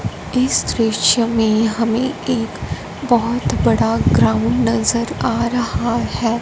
इस दृश्य में हमें एक बहुत बड़ा ग्राउंड नजर आ रहा है।